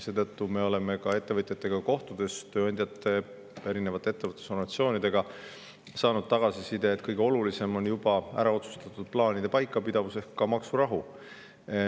Me oleme ka ettevõtjate, tööandjate, erinevate ettevõtlusorganisatsioonidega kohtudes saanud tagasisidet, et kõige olulisem on juba ära otsustatud: plaanide paikapidavus ehk maksurahu.